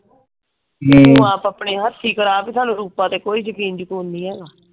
ਤੂੰ ਆਪ ਆਪਣੇ ਹੱਥ ਹੀ ਕਰ ਬੀ ਸਾਨੂੰ ਰੂਪਾ ਤੇ ਕੋਈ ਯਕੀਨ ਯਕੂਨ ਨਹੀਂ ਹੈਗਾ।